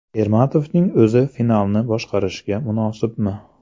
Ermatovning o‘zi finalni boshqarishga munosibmi?